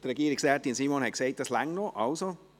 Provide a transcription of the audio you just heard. Regierungsrätin Simon sagt, dass es noch reicht.